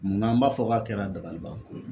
Munna an b'a fɔ k'a kɛra dabalibanko ye